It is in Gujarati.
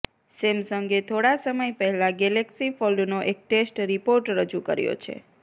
સેમસંગે થોડા સમય પહેલા ગેલેક્સી ફોલ્ડનો એક ટેસ્ટ રિપોર્ટ રજૂ કર્યો છે